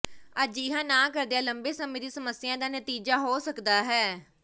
ਅਜਿਹਾ ਨਾ ਕਰਦਿਆਂ ਲੰਬੇ ਸਮੇਂ ਦੀ ਸਮੱਸਿਆ ਦਾ ਨਤੀਜਾ ਹੋ ਸਕਦਾ ਹੈ